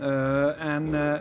en